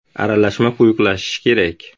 Aralashma quyuqlashishi kerak.